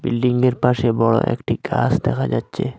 বিল্ডিংয়ের পাশে বড় একটি গাস দেখা যাচ্চে।